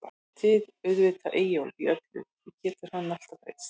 Ég styð auðvitað Eyjólf í öllu, því getur hann alltaf treyst.